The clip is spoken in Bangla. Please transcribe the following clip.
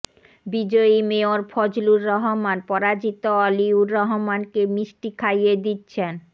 বিজয়ী মেয়র ফজলুর রহমান পরাজিত অলিউর রহমানকে মিষ্টি খাইয়ে দিচ্ছেন